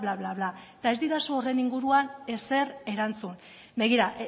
bla bla eta ez didazu horren inguruan ezer erantzun begira